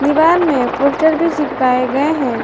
दीवार में पोस्टर भी चिपकाए गए हैं।